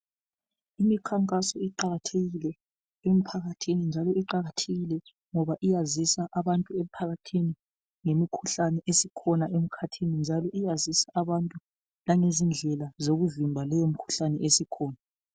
Imikhankaso iqakathekile emphakathini njalo iqakathekile ngoba iyazisa abantu emphakathini ngemikhuhlane esikhona emkhathini. Njalo iyazisa abantu langezindlela zokuvimba leyo mikhuhlane esikhona.